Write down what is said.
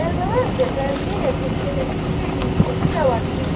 Kərbəlayi Cəfər yenə bir qədər fikir eləyib cavab verdi.